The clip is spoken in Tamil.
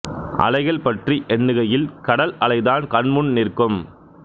அலைகள் பற்றி எண்ணுகையில் கடல் அலைதான் கண் முன் நிற்கும்